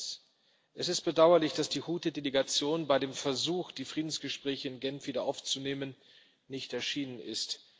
Erstens Es ist bedauerlich, dass die Huthi Delegation bei dem Versuch, die Friedensgespräche in Genf wieder aufzunehmen, nicht erschienen ist.